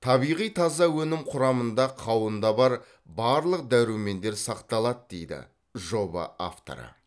табиғи таза өнім құрамында қауында бар барлық дәрумендер сақталады дейді жоба авторы